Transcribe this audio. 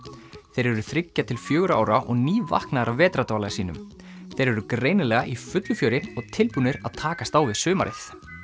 þeir eru þriggja til fjögurra ára og nývaknaðir af vetrardvala sínum þeir eru greinilega í fullu fjöri og tilbúnir að takast á við sumarið